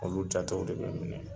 Olu jatew de bɛ minɛ